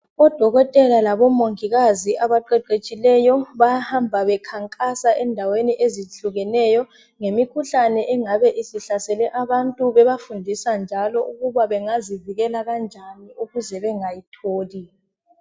Odokotela labo mongikazi abaqeqetshileyo bayahamba bekhankasa endaweni ezitshiyeneyo ngemikhuhlane engabe sihlasele abantu bebafundisa njalo ukubabengazivikela kanjani ukuze bengayi tholi.